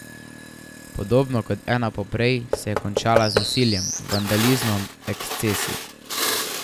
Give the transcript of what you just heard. Podobno kot ena poprej se je končala z nasiljem, vandalizmom, ekscesi.